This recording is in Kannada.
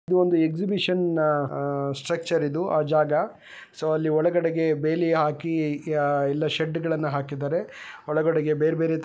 ಇದು ಒಂದು ಎಕ್ಸಿಬಿಷ ನ್ ಸ್ಟ್ರಚ್ಛರ ಇದು ಆ ಜಾಗ ಸೋ ಅಲಿ ಒಳಗಡೆಗೆ ಬೇಲಿ ಹಾಕಿ ಎಲ್ಲಾ ಷಡ ಳನ್ನು ಹಾಕಿದ್ದಾರೆ ಒಳಗಡೆಗೆ ಬೇರೆ ಬೇರೆ --